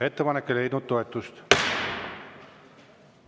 Ettepanek ei leidnud toetust.